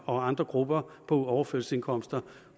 og andre grupper på overførselsindkomster